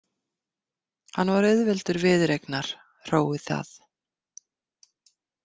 Hann var auðveldur viðureignar, hróið það.